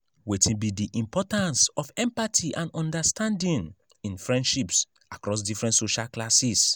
wetin be di importance of empathy and understanding in friendships across different social classes?